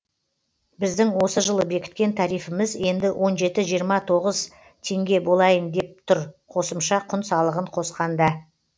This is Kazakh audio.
біздің осы жылы бекіткен тарифіміз енді он жеті жиырма тоғыз тенге болайын деп тұрқосымша құн салығын қосқанда